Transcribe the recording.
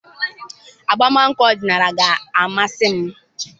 Agbamakwụkwọ ọdịnala ga-amasị m.